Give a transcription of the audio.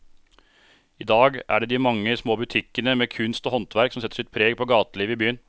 I dag er det de mange små butikkene med kunst og håndverk som setter sitt preg på gatelivet i byen.